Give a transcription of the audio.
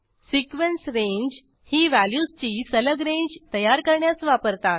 sequence range ही व्हॅल्यूजची सलग रेंज तयार करण्यास वापरतात